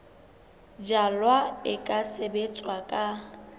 jalwa e ka sebetswa ka